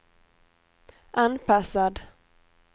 anpassad